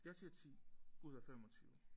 Jeg siger 10 ud af 25